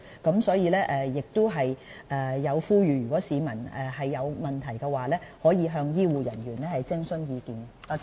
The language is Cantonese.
衞生署亦呼籲當市民有疑問時，是可以向醫護人員徵詢意見的。